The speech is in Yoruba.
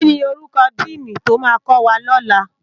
Kini órúkò dìní tó má kòwá lòlá?